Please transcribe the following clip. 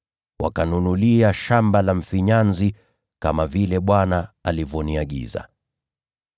wakanunulia shamba la mfinyanzi, kama vile Bwana alivyoniagiza.”